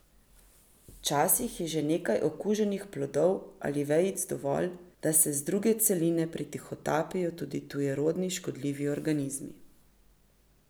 Včasih je že nekaj okuženih plodov ali vejic dovolj, da se z druge celine pretihotapijo tudi tujerodni škodljivi organizmi.